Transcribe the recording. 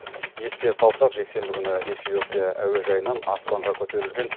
еске салсақ жексенбі күні эфиопия әуежайынан аспанға көтерілген